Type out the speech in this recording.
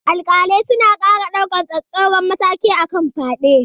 Alƙalai suna ƙara daukar tsauraran matakai kan fyade.